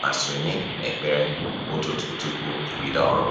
ma sonye n'ekpere ụtụtụ tupu e bido ọrụ